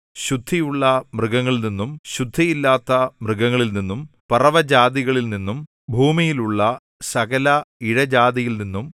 ശുദ്ധിയുള്ള മൃഗങ്ങളിൽനിന്നും ശുദ്ധിയില്ലാത്ത മൃഗങ്ങളിൽനിന്നും പറവകളിൽനിന്നും ഭൂമിയിലുള്ള സകല ഇഴജാതിയിൽനിന്നും